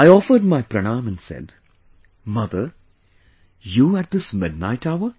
I offered my pranaam and said 'Mother, you at this midnight hour